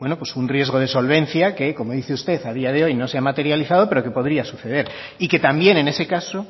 un riesgo de solvencia que como dice usted a día de hoy no se ha materializado pero que podría suceder y que también en ese caso